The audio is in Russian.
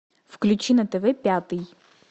включи на тв пятый